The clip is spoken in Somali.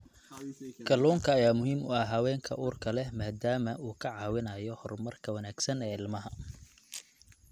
Kalluunka ayaa muhiim u ah haweenka uurka leh maadaama uu ka caawinayo horumarka wanaagsan ee ilmaha.